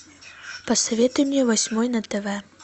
посоветуй мне восьмой на тв